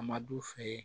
A ma d'u fɛ ye